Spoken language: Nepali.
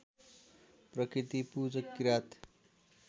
प्रकृति पुजक किरात